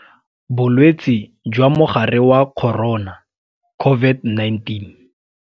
Bolwetse jwa Mogare wa Corona, COVID-19.